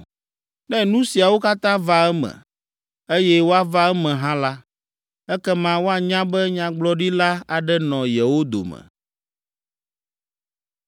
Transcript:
“Ne nu siawo katã va eme, eye woava eme hã la, ekema woanya be nyagblɔɖila aɖe nɔ yewo dome.”